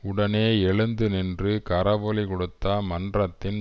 உடனே எழுந்து நின்று கரவொலி கொடுத்த மன்றத்தின்